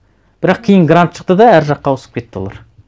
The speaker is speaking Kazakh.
бірақ кейін грант шықты да әр жаққа ауысып кетті олар